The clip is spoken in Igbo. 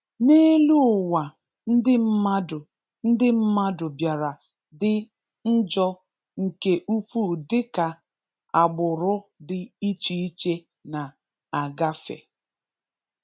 n'elu ụwa ndị mmadụ ndị mmadụ bịara dị njọ nke ukwu dịka agbụrụ dị iche iche na agafe.